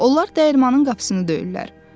Onlar dəyirmanin qapısını döyürlər.